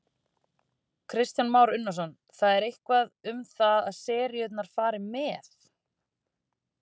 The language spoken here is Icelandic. Kristján Már Unnarsson: Það er eitthvað um það að seríurnar fari með?